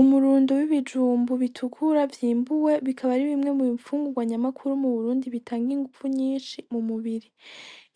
Umurundo wi ibijumbu bitukura vyimbuwe bikaba ari bimwe mu ifungurwa nyamukuru mu Burundi bitanga inguvu nyinshi mu mubiri